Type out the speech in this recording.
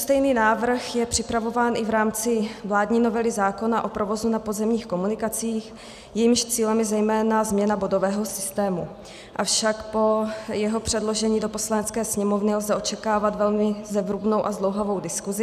Stejný návrh je připravován i v rámci vládní novely zákona o provozu na pozemních komunikacích, jejímž cílem je zejména změna bodového systému, avšak po jeho předložení do Poslanecké sněmovny lze očekávat velmi zevrubnou a zdlouhavou diskusi.